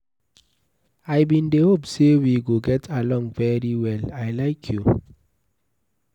I bin dey hope say we go get along very well, I like you.